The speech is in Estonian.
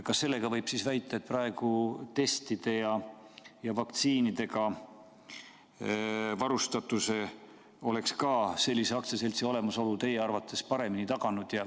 Kas seega võib väita, et testide ja vaktsiinidega varustatuse oleks ka sellise aktsiaseltsi olemasolu teie arvates paremini taganud?